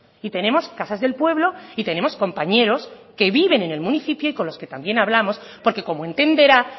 y tenemos casas del pueblo y tenemos compañeros que viven en el municipio y con los que también hablamos porque como entenderá